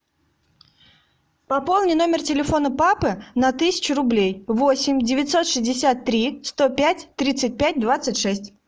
пополни номер телефона папы на тысячу рублей восемь девятьсот шестьдесят три сто пять тридцать пять двадцать шесть